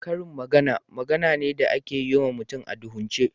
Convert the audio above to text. Karin magana, magana ne da ake yi ma mutum a duhunce.